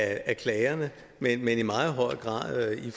af klagerne men i meget høj grad i